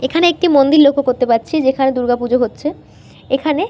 এখানে একটি মন্দির লক্ষ্য করতে পাচ্ছি যেখানে দূর্গা পুজো হচ্ছে। এখানে--